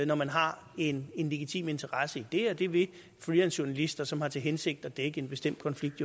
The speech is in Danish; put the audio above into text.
når man har en en legitim interesse i det og det vil freelancejournalister som har til hensigt at dække en bestemt konflikt